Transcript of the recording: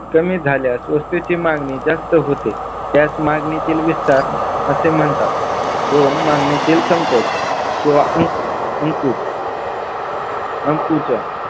कमी झाल्यास वस्तूची मागणी जास्त होते. त्यात मागणीतील विस्तार असे म्हणतात दोन मागणीतील संकोच किंवा अंकुज अंकुजा